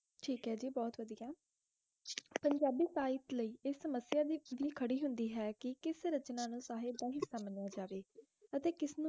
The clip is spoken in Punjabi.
ਠੇਕ ਹੈ ਗ ਬਹੁਤ ਵੱਡੀਆ ਪੰਜਾਬੀ ਪੀਪੇ ਲਾਏ ਇਸ ਸਮਸਿਆ ਦੇ ਪੋਰੀ ਖਰੀ ਹੰਦੀ ਹੈ ਕਿਸ ਰਚਨਾ ਨੂੰ ਸਾਹੇ ਬੰਦ ਸਨਾਯਾ ਜਵਾਈ ਹਨ ਕਸ ਨੋ